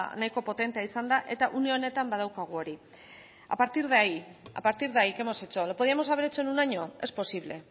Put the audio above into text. nahiko potentea izan da une honetan badaukagu hori a partir de ahí qué hemos hecho lo podíamos haber hecho en un año es posible